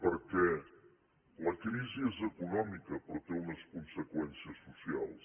perquè la crisi és econòmica però té unes conseqüències socials